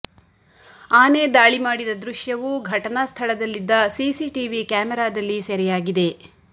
ಆನೆ ದಾಳಿ ಮಾಡಿದ ದೃಶ್ಯವು ಘಟನಾ ಸ್ಥಳದಲ್ಲಿದ್ದ ಸಿಸಿಟಿವಿ ಕ್ಯಾಮೆರಾದಲ್ಲಿ ಸೆರೆಯಾಗಿದೆ